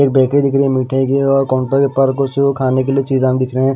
एक बेकरी दिख रही है मिठाई की और काउंटर के ऊपर कुछ खाने के लिए चीज़ आम दिख रहे है।